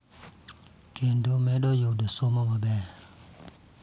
Kendo medo yudo somo maber.